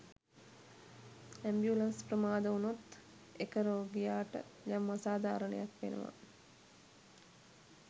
Ambulance ප්‍රමාද වුණොත් එක රෝගියාට යම් අසාධාරණයක් වෙනවා.